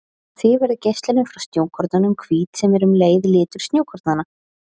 Því verður geislunin frá snjókornunum hvít sem er um leið litur snjókornanna.